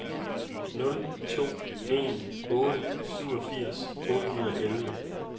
nul to en otte syvogfirs otte hundrede og elleve